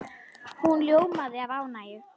Hún ljómaði af ánægju.